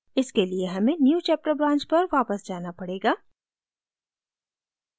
इसके लिए हमें newchapter branch पर वापस जाना पड़ेगा